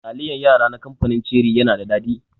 Taliyan yara na kamfanin ceri yana da daɗi.